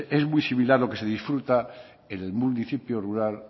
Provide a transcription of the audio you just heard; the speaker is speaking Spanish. es muy similar lo que se disfruta en el municipio rural